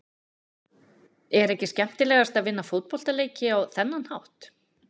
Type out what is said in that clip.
Er ekki skemmtilegast að vinna fótboltaleiki á þennan hátt?